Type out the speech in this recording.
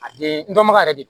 A be n dɔnbaga yɛrɛ de do